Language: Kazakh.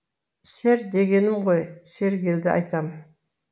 сер дегенім ғой сергелді айтам